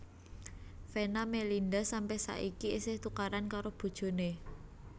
Venna Melinda sampe saiki isih tukaran karo bojone